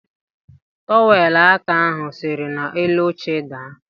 Trọwelụ aka ahụ siri n'elu oche daa.